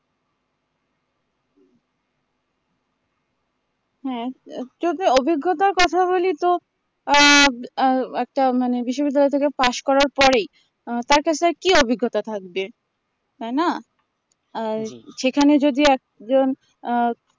হ্যাঁ অভিজ্ঞতার কথা বলি তো আহ আ একটা মানে বিশ্ববিদ্যালয় pass করার পরেই আ তার কাছে আর কি অভিজ্ঞতা থাকবে তাই না আ সেখানে যদি একজন আ